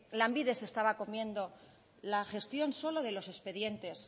lanbide se estaba comiendo la gestión solo de los expedientes